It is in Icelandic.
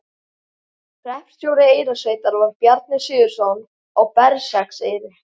Hreppstjóri Eyrarsveitar var Bjarni Sigurðsson á Berserkseyri.